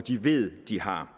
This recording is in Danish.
de ved de har